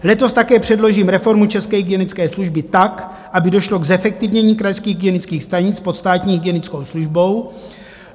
Letos také předložím reformu české hygienické služby tak, aby došlo k zefektivnění krajských hygienických stanic pod státní hygienickou službou.